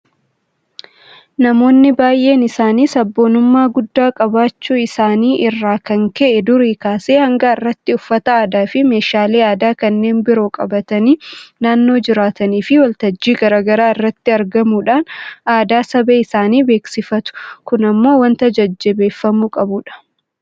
Namoonni baay'een isaanii sabboonummaa guddaa qabaachuu isaanii irraa kan ka'e durii kaasee hanga har'aatti uffata aadaafi meeshaalee aadaa kanneen biroo qabatanii naannoo jiraataniifi waltajjii garaa garaa irratti argamuudhaan aadaa saba isaanii beeksifatu. Kun immoo waanta jajjabeeffamuu qabudha.